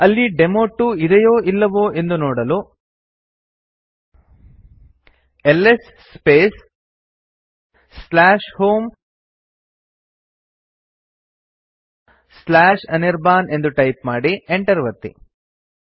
ಅಲ್ಲಿ ಡೆಮೊ2 ಇದೆಯೋ ಇಲ್ಲವೋ ಎಂದು ನೋಡಲು ಎಲ್ಎಸ್ ಸ್ಪೇಸ್ homeanirban ಎಂದು ಟೈಪ್ ಮಾಡಿ enter ಒತ್ತಿ